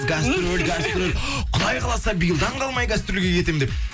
гастроль гастроль құдай қаласа биылдан қалмай гастрольге кетемін деп